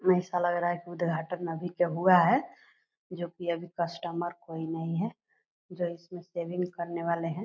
ऐसा लग रहा है उद्घाटन अभी का हुआ है जो की अभी कस्टमर कोई नहीं है जो इसमें सर्विस करने वाले है।